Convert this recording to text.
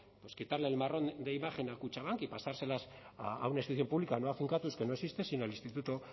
quitarle el marrón de imagen a kutxabank y pasárselas a una institución pública no a finkatuz que no existe sino al instituto